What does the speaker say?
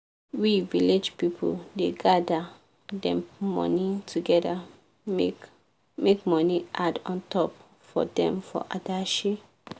we village pipu da gather dem money together make make money add untop for them for adashi